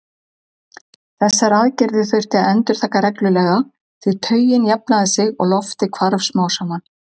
Þessar aðgerðir þurfti að endurtaka reglulega því taugin jafnaði sig og loftið hvarf smám saman.